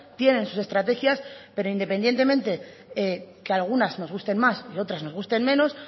tienen sus estrategias pero independientemente que algunas nos gusten más o otras nos gusten menos